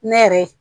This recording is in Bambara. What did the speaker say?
Ne yɛrɛ